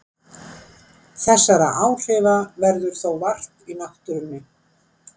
Þessara áhrifa verður þó vart í náttúrunni.